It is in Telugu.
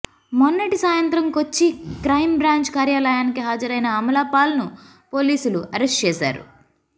మొన్నటి సాయంత్రం కొచ్చి క్రైం బ్రాంచ్ కార్యాలయానికి హాజరైన అమలాపాల్ను పోలీసులు అరెస్ట్ చేశారు